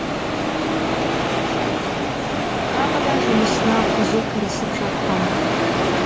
тағы да жұмысына қызу кірісіп жатқан